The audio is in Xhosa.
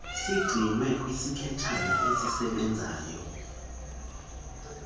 sigcinwe kwisikhitshana esisebenzayo